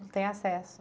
Não tem acesso.